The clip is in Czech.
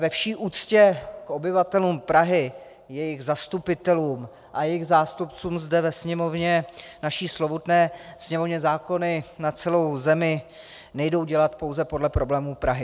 Ve vší úctě k obyvatelům Prahy, jejich zastupitelům a jejich zástupcům zde ve Sněmovně, naší slovutné Sněmovně, zákony na celou zemi nejdou dělat pouze podle problémů Prahy.